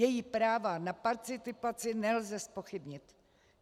Její práva na participaci nelze zpochybnit.